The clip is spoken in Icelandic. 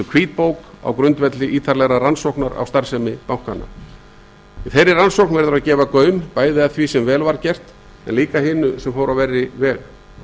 hvítbók á grundvelli ítarlegrar rannsóknar á starfsemi bankanna í þeirri rannsókn verður að gefa gaum því sem vel var gert en líka hinu sem fór á verri veg